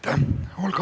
Aitäh!